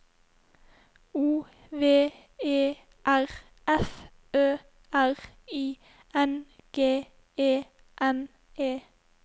O V E R F Ø R I N G E N E